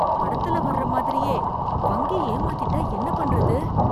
படத்துல வர்ற மாதிரியே, வங்கி ஏமாத்திட்டா என்ன பண்றது.